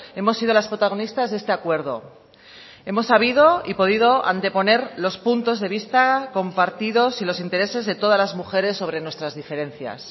hemos sido las protagonistas de este acuerdo hemos sabido y podido anteponer los puntos de vista compartidos y los intereses de todas las mujeres sobre nuestras diferencias